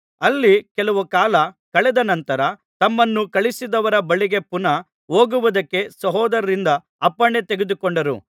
ಅಲ್ಲಿ ಕೆಲವು ಕಾಲ ಕಳೆದ ನಂತರ ತಮ್ಮನ್ನು ಕಳುಹಿಸಿದವರ ಬಳಿಗೆ ಪುನಃ ಹೋಗುವುದಕ್ಕೆ ಸಹೋದರರಿಂದ ಅಪ್ಪಣೆ ತೆಗೆದುಕೊಂಡರು